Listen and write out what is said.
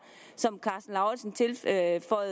som herre